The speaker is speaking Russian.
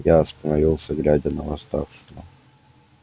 я остановился глядя на восставшего